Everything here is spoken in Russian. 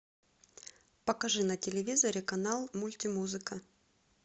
покажи на телевизоре канал мультимузыка